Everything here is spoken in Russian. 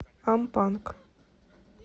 ампанг